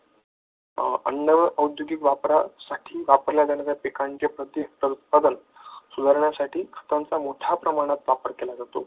अन्न व औद्योगिक वापरासाठी वापरल्या जाणाऱ्या पिकांच्या प्रतिउत्पादन सुधारण्यासाठी त्यांचा मोठ्या प्रमाणात वापर केला जातो.